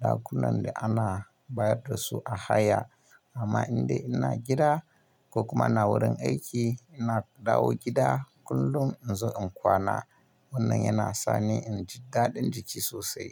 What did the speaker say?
ɗakunan da ana bayar da su a haya. Amma indai ina gida ko kuma ina wurin aiki, ina dawo gida kullum in zo in kwana. Wannan yana sani in ji daɗin jiki sosai.